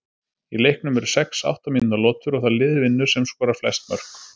Í leiknum eru sex átta mínútna lotur og það lið vinnur sem skorar flest mörk.